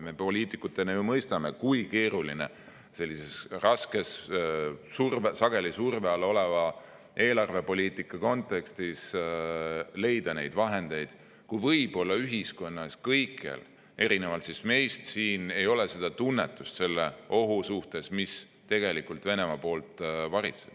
Me poliitikutena mõistame, kui keeruline on sellises raskes, sageli surve all oleva eelarvepoliitika kontekstis leida selleks vahendeid, kui kõikjal ühiskonnas – erinevalt meist siin – ei ole samasugust tunnetust selle ohu suhtes, mis meid tegelikult Venemaa näol varitseb.